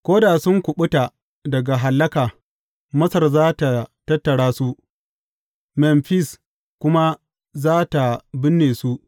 Ko da sun kuɓuta daga hallaka, Masar za tă tattara su, Memfis kuma za tă binne su.